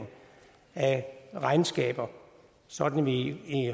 af regnskaber sådan at vi i